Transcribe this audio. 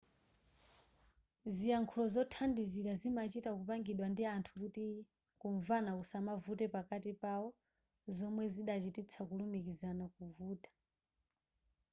ziyankhulo zothandizira zimachita kupangidwa ndi anthu kuti kumvana kusamavute pakati pawo zomwe zikadachititsa kulumikizana kuvuta